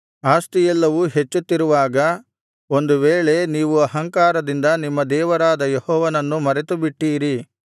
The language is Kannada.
ಆಸ್ತಿಯೆಲ್ಲವೂ ಹೆಚ್ಚುತ್ತಿರುವಾಗ ಒಂದು ವೇಳೆ ನೀವು ಅಹಂಕಾರದಿಂದ ನಿಮ್ಮ ದೇವರಾದ ಯೆಹೋವನನ್ನು ಮರೆತುಬಿಟ್ಟೀರಿ